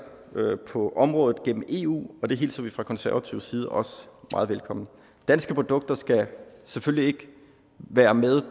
på området gennem eu og det hilser vi fra konservativ side også meget velkommen danske produkter skal selvfølgelig ikke være med